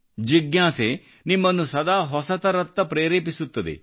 ಜಿಜ್ಞಾಸೆ ನಿಮ್ಮನ್ನು ಸದಾ ಹೊಸದರತ್ತ ಪ್ರೇರೆಪಿಸುತ್ತದೆ